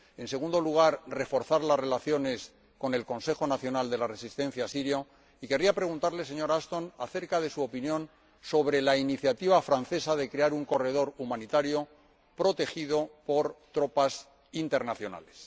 en segundo lugar, reforzar las relaciones con el Consejo Nacional Sirio —y quería preguntarle, señora Ashton, acerca de su opinión sobre la iniciativa francesa de crear un corredor humanitario protegido por tropas internacionales—